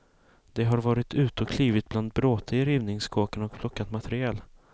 De har varit ute och klivit bland bråte i rivningskåkar och plockat material.